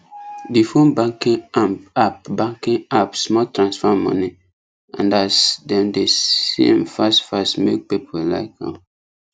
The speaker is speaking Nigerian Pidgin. the phone banking app banking app small transfer money and as dem dey see m fast fast make people like m